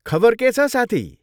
खबर के छ साथी?